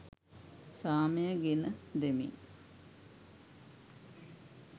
සාමය ගෙන දෙමින්